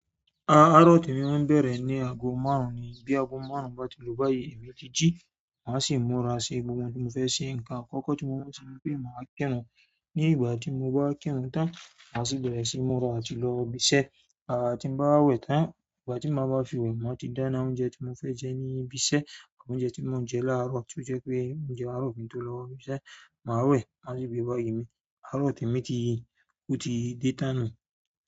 A-àárọ̀ tí mo máa ń bẹ̀rẹ̀ ní ago márùn-ún ni. Bí ago márùn-ún bá ti lò báyìí, èmi jíjí, màá sì múra ṣe gbogbo ohun tí mo fẹ́ ṣe. Ǹ kan àkọ́kọ́ tí mo mọ̀ tí mo fẹ́ máa kírun. Ni ìgbà ti mo ba kiirun tan, ma si bere si múra àti lo ibi iṣẹ́ àti bá wẹ̀ tán, ìgbà tí màá bá fi wẹ̀, màá ti dáná oúnjẹ tí mo fẹ́ jẹ ní ibiṣẹ́ àbí oúnjẹ tí mo ń jẹ láàárọ̀ tí ó jẹ́ pé oúnjẹ àárọ̀ kí n tó lọ ibiṣẹ́. Màá wẹ̀, màá sì gbé e bọ̀ ìyè mi. Àárọ̀ tí mi ti, ó ti dé tán náà.